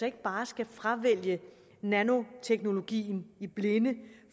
ikke bare skal fravælge nanoteknologien i blinde